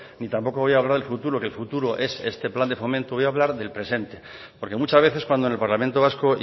ni tampoco voy a hablar del futuro que el futuro es este plan de fomento voy a hablar del presente porque muchas veces cuando en el parlamento vasco